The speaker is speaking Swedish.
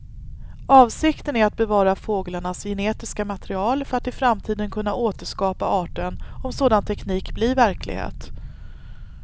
Avsikten är att bevara fåglarnas genetiska material för att i framtiden kunna återskapa arten om sådan teknik blir verklighet.